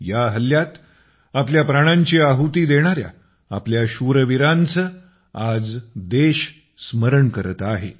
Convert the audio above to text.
या हल्ल्यात आपल्या प्राणांची आहुती देणाऱ्या आपल्या शूरवीरांचे आज देश स्मरण करत आहे